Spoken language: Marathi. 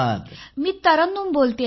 मी तरन्नुम बोलते आहे